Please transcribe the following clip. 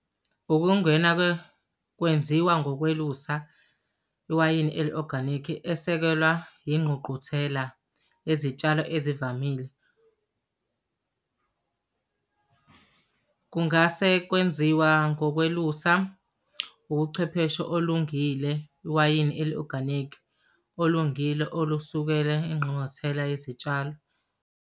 Ukungena-ke kwenziwa ngokwelusa iwayini eli-oganikhi esekela ingququthela yezitshalo ezivamile. Kungase kwenziwa ngokwelusa ukuchwepheshe olungile iwayini eli-oganikhi. Olungile olusukele engqungquthela yezitshalo.